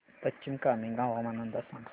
पश्चिम कामेंग हवामान अंदाज सांगा